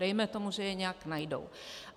Dejme tomu, že je nějak najdou.